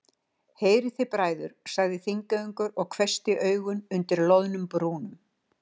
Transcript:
Heyrið þið bræður, sagði Þingeyingur og hvessti augun undir loðnum brúnum.